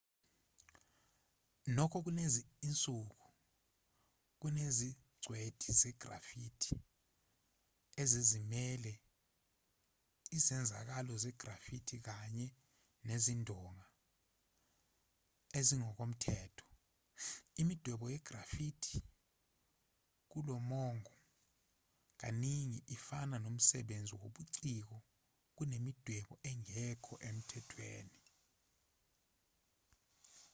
nokho kulezi zinsuku kunezingcweti ze-graffiti ezizimele izenzakalo ze-graffiti kanye nezindonga ezingokomthetho imidwebo ye-graffiti kulomongo kaningi ifana nomsebenzi wobuciko kunemidwebo engekho emthethweni